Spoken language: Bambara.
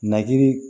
Nakiri